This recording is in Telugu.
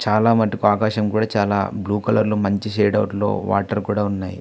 చాలా మటుకు ఆకాశం కూడా చాలా బ్లూ కలర్ లో మంచి షేడ్ అవుట్ లోవాటర్ కూడా ఉన్నాయి.